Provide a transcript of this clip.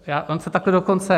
On se takhle dokonce...